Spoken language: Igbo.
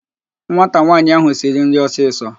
Nwata nwaanyị áhụ̀ siri nri ọsịsọ